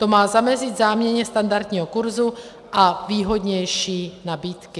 To má zamezit záměně standardního kurzu a výhodnější nabídky.